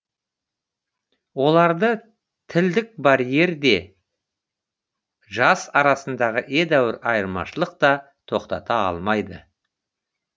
оларды тілдік барьер де жас арасындағы едәуір айырмашылық та тоқтата алмайды